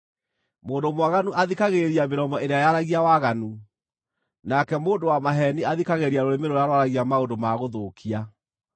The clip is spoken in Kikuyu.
Mũndũ mwaganu athikagĩrĩria mĩromo ĩrĩa yaragia waganu; nake mũndũ wa maheeni athikagĩrĩria rũrĩmĩ rũrĩa rwaragia maũndũ ma gũthũkia.